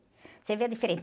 Você vê a diferença.